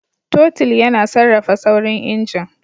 Totul yana sarrafa saurin injin.